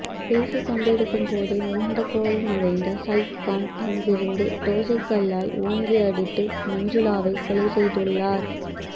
பேசிக்கொண்டிருக்கும் போதே மிகுந்த கோபமடைந்த சைஃப்கான் அருகிலிருந்த தோசைக் கல்லால் ஓங்கி அடித்து மஞ்சுலாவை கொலை செய்துள்ளார்